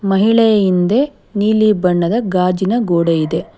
ಮಹಿಳೆ ಹಿಂದೆ ನೀಲಿ ಬಣ್ಣದ ಗಾಜಿನ ಗೋಡೆ ಇದೆ.